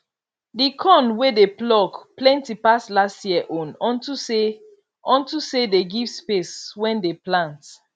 the corn wey dey pluck plenty pass last year own unto say unto say they give space wen dey plant